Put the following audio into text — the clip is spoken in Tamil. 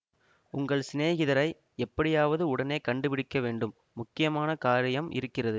உங்கள் சினேகிதரை எப்படியாவது உடனே கண்டு பிடிக்க வேண்டும் முக்கியமான காரியம் இருக்கிறது